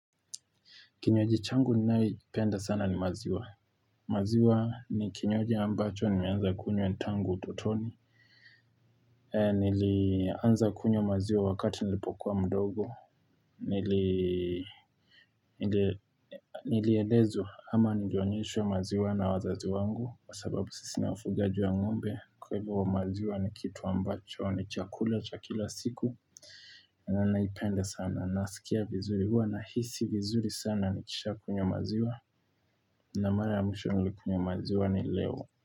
Kinywaji changu ninayoipenda sana ni maziwa. Maziwa ni kinywaji ambacho nimeanza kunywa tangu utotoni. Nilianza kunywa maziwa wakati nilipokuwa mdogo. Nilielezwa ama nilionyeshwa ya maziwa na wazazi wangu. Kwa sababu sisi ni wafugaji wa ng'ombe. Kwa hivyo maziwa ni kitu ambacho. Ni chakula cha kila siku. Na naipenda sana. Nasikia vizuri hua. Nahisi vizuri sana nikishaa kunywa maziwa. Na mara mwisho nilikunywa maziwa ni leo.